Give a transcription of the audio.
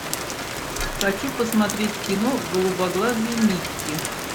хочу посмотреть кино голубоглазый микки